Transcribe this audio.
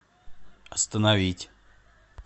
остановить